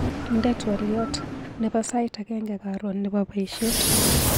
Indee twaliot nebo sait agenge karon nebo baishet.